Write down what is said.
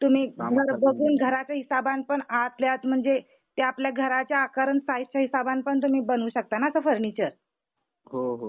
हा, हा म्हणजे तुम्ही घर बघून घराच्या हिसाबण पण आतल्या आत म्हणजे ते आपल्या घराच्या आकार आन साईझ च्या हिसाबण पण तुम्ही बनवू शकता ना फर्निचर.